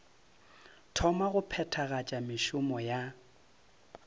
thoma go phethagatša mešomo ya